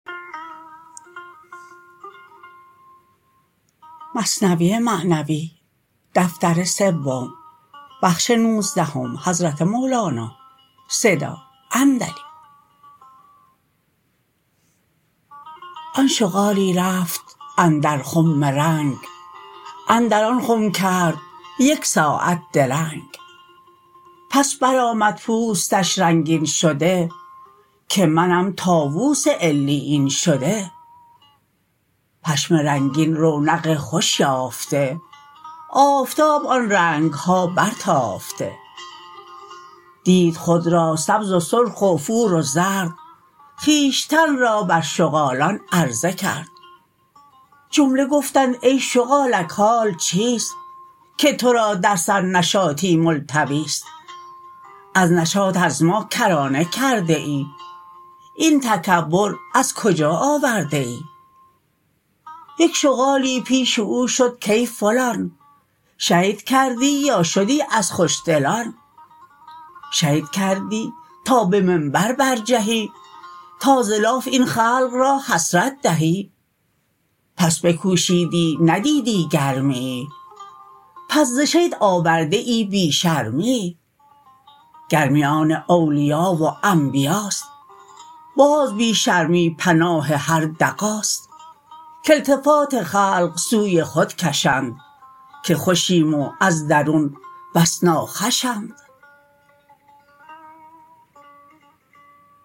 آن شغالی رفت اندر خم رنگ اندر آن خم کرد یک ساعت درنگ پس بر آمد پوستش رنگین شده که منم طاووس علیین شده پشم رنگین رونق خوش یافته آفتاب آن رنگ ها بر تافته دید خود را سبز و سرخ و فور و زرد خویشتن را بر شغالان عرضه کرد جمله گفتند ای شغالک حال چیست که تو را در سر نشاطی ملتویست از نشاط از ما کرانه کرده ای این تکبر از کجا آورده ای یک شغالی پیش او شد کای فلان شید کردی یا شدی از خوش دلان شید کردی تا به منبر برجهی تا ز لاف این خلق را حسرت دهی بس بکوشیدی ندیدی گرمیی پس ز شید آورده ای بی شرمیی گرمی آن اولیا و انبیاست باز بی شرمی پناه هر دغاست که التفات خلق سوی خود کشند که خوشیم و از درون بس ناخوشند